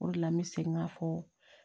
O de la n bɛ segin k'a fɔ